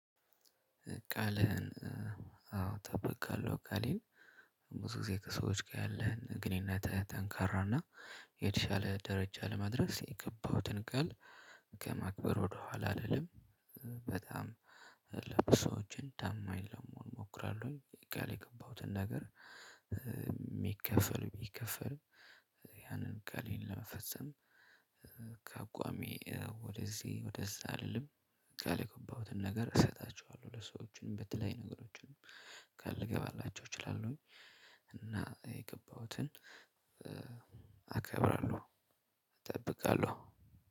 ቃልህን አዎ ጠብቃለሁ። ቃሌን ብዙ ጊዜ ከሰዎች ጋር ያለህን ግንኙነትህ ጠንካራና የተሻለ ደረጃ ለማድረስ የገባሁትን ቃል ከማክበር ወደኋላ አይደለም። በጣም ለብሶችን ታማኝ ለመሆን እሞክራለሁኝ። ቃል የገባሁትን ነገር ሚከፈል ሚከፈል ያንን ቃሌን ለመፈጸም። ከአቋሜ ወደዚህ ወደዛ አልልም። ቃል የገባሁትን ነገር እሰጣቸዋለሁ ለሰዎችም በተለያዩ ነገሮችም ቃል ልገባላቸው እችላለሁኝ። እና የገባሁትን አከብራለሁ። እጠብቃለሁ።